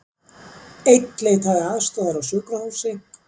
Einn leitaði aðstoðar á sjúkrahúsi